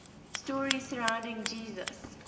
stories surrounding jesus